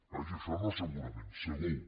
vaja això no segurament segur